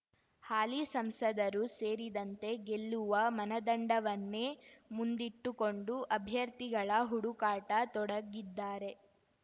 ಹಾಲಿ ಸಂಸದರೂ ಸೇರಿದಂತೆ ಗೆಲ್ಲುವ ಮನದಂಡವನ್ನೇ ಮುಂದಿಟ್ಟುಕೊಂಡು ಅಭ್ಯರ್ಥಿಗಳ ಹುಡುಕಾಟ ತೊಡಗಿದ್ದಾರೆ